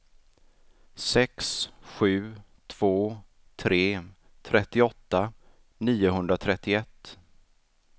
sex sju två tre trettioåtta niohundratrettioett